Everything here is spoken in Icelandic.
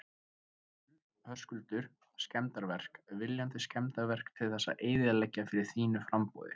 Höskuldur: Skemmdarverk, viljandi skemmdarverk til þess að eyðileggja fyrir þínu framboði?